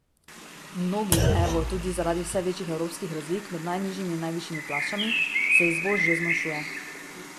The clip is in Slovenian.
Mnogim, evo, tudi zaradi vse večjih evropskih razlik med najnižjimi in najvišjimi plačami, se izvoz že zmanjšuje.